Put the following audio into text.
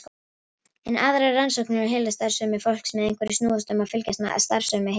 Enn aðrar rannsóknir á heilastarfsemi fólks með einhverfu snúast um að fylgjast með starfsemi heilans.